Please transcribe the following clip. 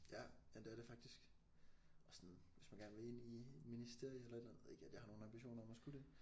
Ja ja det er det faktisk og sådan hvis man gerne vil ind i et ministerium eller et eller andet ikke at jeg har nogle ambitioner om at skulle det